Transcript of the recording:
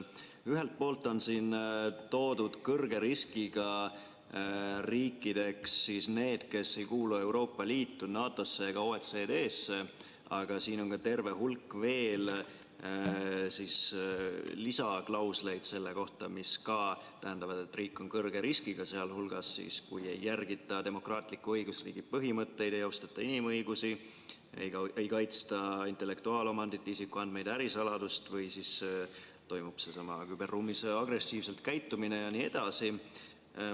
Ühelt poolt on siin toodud kõrge riskiga riikidena välja need, kes ei kuulu Euroopa Liitu, NATO-sse ega OECD-sse, aga siin on ka terve hulk lisaklausleid selle kohta, mida tähendab, et riik on kõrge riskiga, sealhulgas see, kui ei järgita demokraatliku õigusriigi põhimõtteid, ei austata inimõigusi, ei kaitsta intellektuaalomandit, isikuandmeid ja ärisaladust või siis käitutakse küberruumis agressiivselt jne.